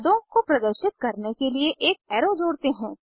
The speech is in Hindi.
उत्पादों को प्रदर्शित करने के लिए एक एरो जोड़ते हैं